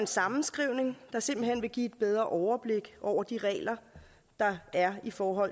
sammenskrivning der simpelt hen vil give et bedre overblik over de regler der er for